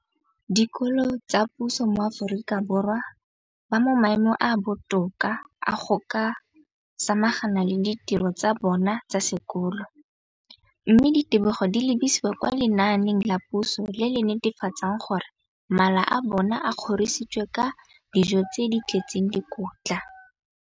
Dikolo tsa puso mo Aforika Borwa ba mo maemong a a botoka a go ka samagana le ditiro tsa bona tsa sekolo, mme ditebogo di lebisiwa kwa lenaaneng la puso le le netefatsang gore mala a bona a kgorisitswe ka dijo tse di tletseng dikotla.